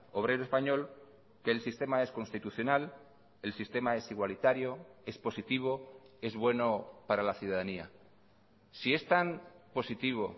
obrero español que el sistema es constitucional el sistema es igualitario es positivo es bueno para la ciudadanía si es tan positivo